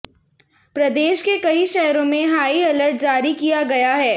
प्रदेश के कई शहरों में हाई अलर्ट जारी किया गया है